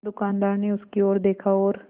दुकानदार ने उसकी ओर देखा और